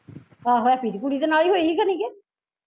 ਆਹੋ ਹੈਪੀ ਦੀ ਕੁੜੀ ਦੇ ਨਾਲ਼ ਹੀਂ ਹੋਈ ਸੀ ਖਣੀ ਕਿ